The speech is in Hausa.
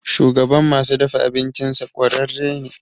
Shugaban masu dafa abincinsa ƙwararre ne.